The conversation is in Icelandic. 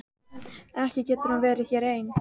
Ekki getur hún verið hér ein.